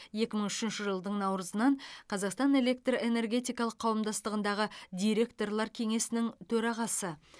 екі мың үшінші жылдың наурызынан қазақстан электр энергетикалық қауымдастығындағы директорлар кеңесінің төрағасы